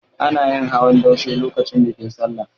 Ana yin hawan daushe lokacin bikin Sallah.